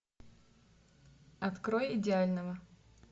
открой идеального